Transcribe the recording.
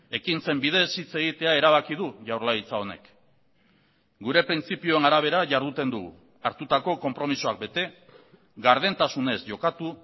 ekintzen bidez hitz egitea erabaki du jaurlaritza honek gure printzipioen arabera jarduten dugu hartutako konpromisoak bete gardentasunez jokatu